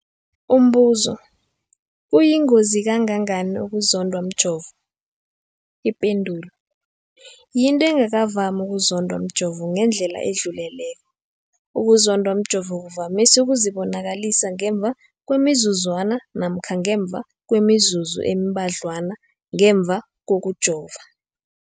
Umbuzo, kuyingozi kangangani ukuzondwa mjovo? Ipendulo, yinto engakavami ukuzondwa mjovo ngendlela edluleleko. Ukuzondwa mjovo kuvamise ukuzibonakalisa ngemva kwemizuzwana namkha ngemva kwemizuzu embadlwana ngemva kokujova.